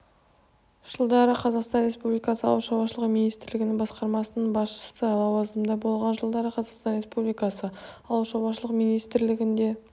жылдары қазақстан республикасы ауыл шаруашылығы министрлігі басқармасының басшысы лауазымында болған жылдары қазақстан республикасы ауыл шаруашылығы министрлігінде